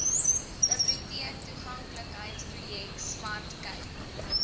biblioteektoeganklikheidsprojek smart cape